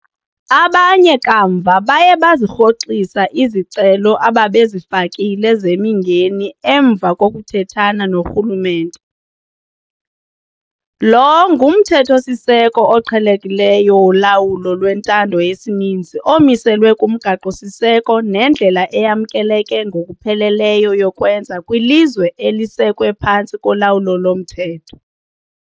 Abanye kamva baye bazirhoxisa izicelo ababezifakile zemingeni emva kokuthethana norhulumente. Lo ngumthetho-siseko oqhelekileyo wolawulo lwentando yesininzi omiliselwe kumgaqo-siseko nendlela eyamkeleke ngokupheleleyo yokwenza kwilizwe elisekwe phantsi kolawulo lomthetho.